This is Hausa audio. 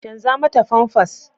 Canza mata famfas.